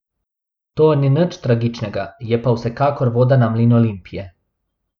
To ni nič tragičnega, je pa vsekakor voda na mlin Olimpije.